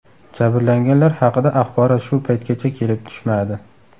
Jabrlanganlar haqida axborot shu paytgacha kelib tushmadi.